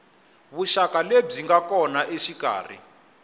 vuxaka lebyi nga kona exikarhi